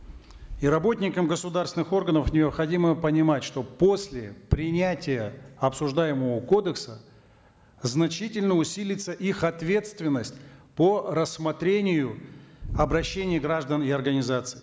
и работникам государственных органов необходимо понимать что после принятия обсуждаемого кодекса значительно усилится их ответственность по рассмотрению обращений граждан и организаций